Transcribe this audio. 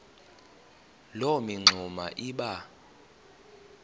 loo mingxuma iba